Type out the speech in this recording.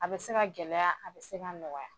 A bɛ se ka gɛlɛya, a bɛ se ka nɔgɔya.